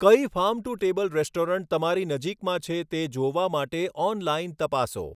કઈ farm to table restaurant તમારી નજીકમાં છે તે જોવા માટે ઑનલાઇન તપાસો.